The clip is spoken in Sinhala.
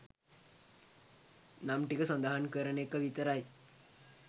නම් ටික සදහන් කරන එක විතරයි